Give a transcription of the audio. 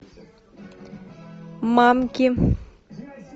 манки